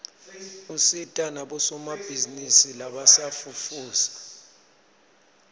usita nabosomabhizinisi labasafufusa